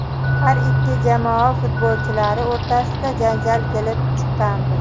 Har ikki jamoa futbolchilari o‘rtasida janjal kelib chiqqandi.